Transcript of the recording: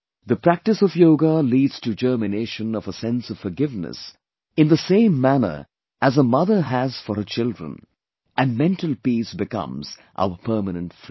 The practice of yoga leads to germination of a sense of forgiveness in the same manner as a mother has for her children and mental peace becomes our permanent friend